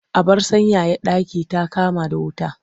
Abar sanyaya ɗaki ta kama da wuta.